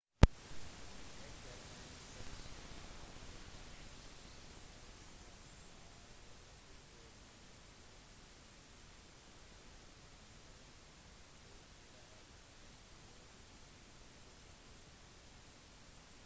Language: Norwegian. etter en kollisjon under grand prix i ungarn i 2009 ble brasilianeren påført en alvorlig hodeskade